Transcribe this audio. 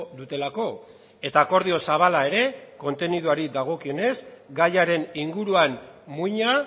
dutelako eta akordio zabala ere konteniduari dagokionez gaiaren inguruan muina